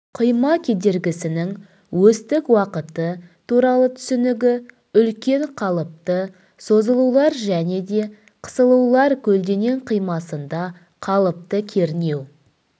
қима кедергісінің осьтік уақыты туралы түсінігі үлкен қалыпты созылулар және де қысылулар көлденең қимасында қалыпты кернеу